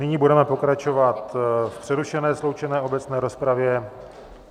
Nyní budeme pokračovat v přerušené sloučené obecné rozpravě.